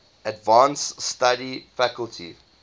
advanced study faculty